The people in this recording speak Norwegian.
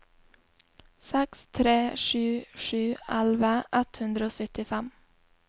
seks tre sju sju elleve ett hundre og syttifem